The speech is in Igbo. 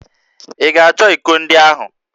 Ị ga-achọ íkò ndị ahụ?